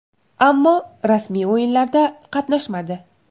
Ammo rasmiy o‘yinlarda qatnashmadi.